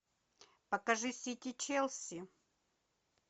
покажи сити челси